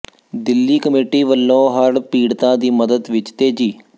Delhi committee ਵੱਲੋਂ ਹੜ੍ਹ ਪੀੜਤਾਂ ਦੀ ਮਦਦ ਵਿੱਚ ਤੇਜ਼ੀ